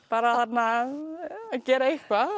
bara að gera eitthvað